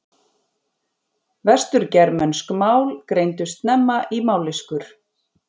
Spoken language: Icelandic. Vestur-germönsk mál greindust snemma í mállýskur.